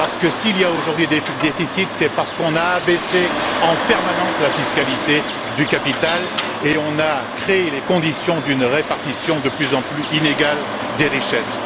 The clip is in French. S'il y a aujourd'hui déficit, c'est parce qu'on a abaissé en permanence la fiscalité sur le capital et qu'on a créé les conditions d'une répartition de plus en plus inégale des richesses.